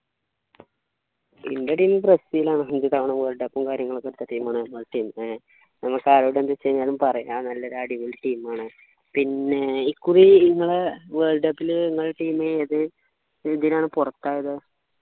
എൻ്റെ team Brazil ആണ് അഞ്ചു തവണ world cup ഉം കാര്യങ്ങളും എടുത്ത team ആണ് മ്മളെ team ഏർ നമ്മക്ക് ആരോടും എന്തും ചെയ്യാനും പറയാനും എല്ലാം ഉള്ള ഒരു അടിപൊളി team ആണ് പിന്നെ ഇക്കുറി ഇങ്ങളെ world cup ലു ഇങ്ങളെ team ഏത് ഇതിനാണ് പുറത്തായത്